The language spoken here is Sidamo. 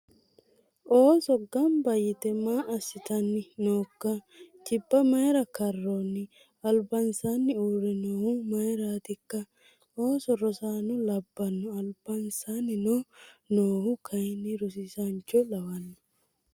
Ooso gammibba yite maa assitan nookka? Jibba maayira karoonni? Alibansaani uure noohu maayraatikka? Ooso rosaano labbano alibanisaanni noohu kayinni rosiisancho lawanno